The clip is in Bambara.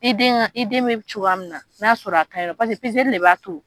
I den ka, iden bɛ cogoya min na n'a'a sɔrɔ a kaɲi nɔ paseke de b'a to.